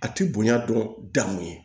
A ti bonya dɔɔnin dan mun ye